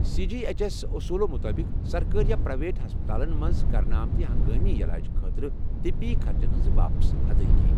C G H S اوٚصوٗلو مُطٲبِق، سرکٲرِ یا پر٘ایوٮ۪ٹ ہسپتالن مَنٛز كرنہٕ آمتۍ ہنگٲمی یلاج خٲطرٕ طبی خرچَن ہِنٛز واپس ادٲیگی۔